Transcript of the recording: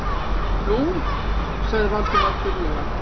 Nú- sagði Valdimar þurrlega.